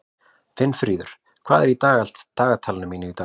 Finnfríður, hvað er í dagatalinu mínu í dag?